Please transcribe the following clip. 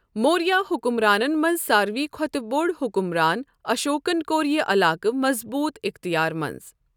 موریا حُکمرانن منٛز ساروےٕ کھۄتہٕ بوٚڈ حُکمران اشوکَن کوٚر یہِ علاقَہٕ مضبوٗط اِختیار منٛز۔